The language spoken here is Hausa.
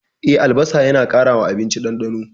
E, albasa yana ƙara wa abinci ɗandano.